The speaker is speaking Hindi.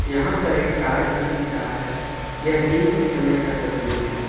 यहां पर एक कार भी दिख रहा है यह दिन के समय का तस्वीर है।